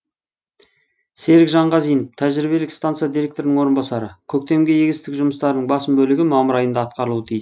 серік жанғазинов тәжірибелік станция директорының орынбасары көктемгі егістік жұмыстарының басым бөлігі мамыр айында атқарылуы тиіс